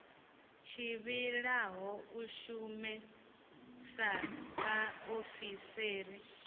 tevhelaho u shuma sa vhaofisiri